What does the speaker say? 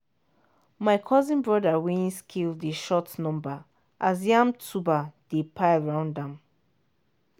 my cousin bring weighing scale dey shout number as yam tuber dey pile round am.